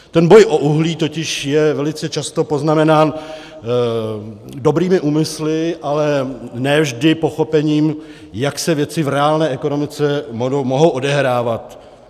Ten boj o uhlí je totiž velice často poznamenám dobrými úmysly, ale ne vždy pochopením, jak se věci v reálné ekonomice mohou odehrávat.